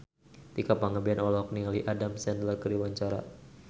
Tika Pangabean olohok ningali Adam Sandler keur diwawancara